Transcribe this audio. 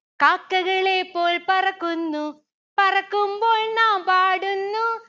കാക്കകളെ പോൽ പറക്കുന്നു പറക്കുമ്പോൾ നാം പാടുന്നു